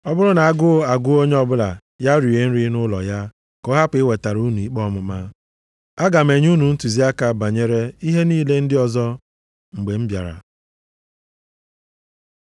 Ọ bụrụ na agụụ agụọ onye ọbụla ya rie nri nʼụlọ ya, ka ọ hapụ iwetara unu ikpe ọmụma. Aga m enye ntụziaka banyere ihe niile ndị ọzọ mgbe m bịara.